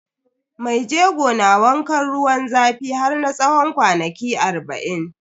Maijego na wankan ruwan zafi har na tsawon kwana arba'in.